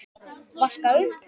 Vaska upp?